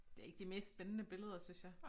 Det ikke de mest spændende billeder synes jeg